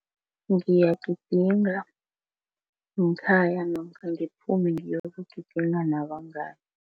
Ngiyagidinga ngekhaya namkha ngiphume ngiyokugidinga nabangani.